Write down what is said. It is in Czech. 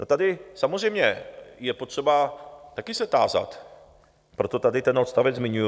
A tady samozřejmě je potřeba taky se tázat, proto tady ten odstavec zmiňuju.